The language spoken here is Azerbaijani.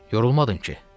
Yorulmadın ki?